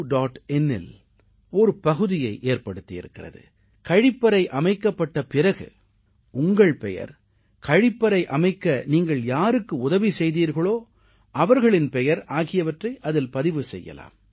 inஇல் ஒரு பகுதியை ஏற்படுத்தியிருக்கிறது கழிப்பறை அமைக்கப்பட்ட பிறகு உங்கள் பெயர் கழிப்பறை அமைக்க நீங்கள் யாருக்கு உதவி செய்தீர்களோ அவர்களின் பெயர் ஆகியவற்றை அதில் பதிவு செய்யலாம்